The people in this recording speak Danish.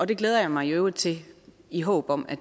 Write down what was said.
det glæder jeg mig i øvrigt til i håbet om at